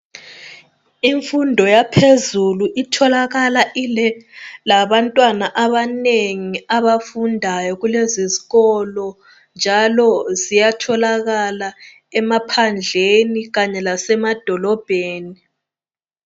Imfundo yaphezulu itholakala ilabantwana abanengi abafundi kulezikolo njalo kuyatholakala emaphandleni kanye lasemadolobheni.